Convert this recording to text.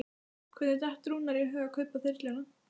Hvernig datt Rúnari í hug að kaupa þyrluna?